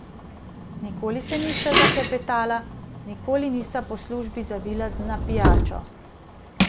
Nikoli se nista zaklepetala, nikoli nista po službi zavila na pijačo.